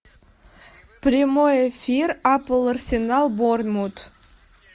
прямой эфир апл арсенал борнмут